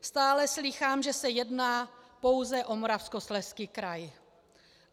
Stále slýchám, že se jedná pouze o Moravskoslezský kraj.